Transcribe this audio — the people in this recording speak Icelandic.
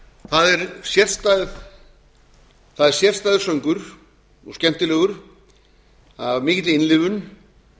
það er sérstæður söngur og skemmtilegur af mikilli innlifun